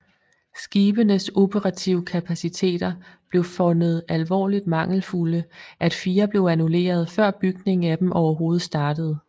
Skibenes operative kapaciteter blev fundet alvorligt mangelfulde at fire blev annulleret før bygningen af dem overhovedet startede